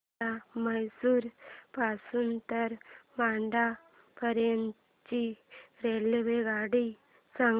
मला म्हैसूर पासून तर मंड्या पर्यंत ची रेल्वेगाडी सांगा